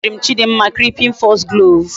E gosirim chidimma creeping foxglove